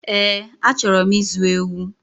Eẹ́, achọrọ m ịzụ ewu